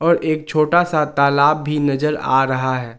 और एक छोटा सा तालाब भी नजर आ रहा है।